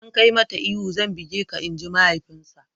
Idan ka yi mata ihu zan buge ka''! Inji mahaifinsa.